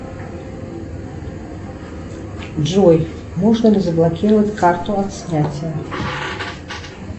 джой можно ли заблокировать карту от снятия